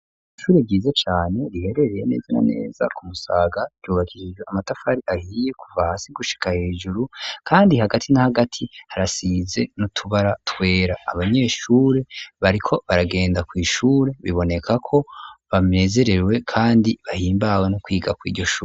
Ishure ryiza cane riherereye neze na neza ku Musaga ryubakishije amatafari ahiye kuva hasi gushika hejuru kandi hagati n'ahagati harasize n'utubara twera abanyeshuri bariko baragenda kw'ishuri biboneka ko banezerewe kandi bahimbawe no kwiga kuriryo shuri.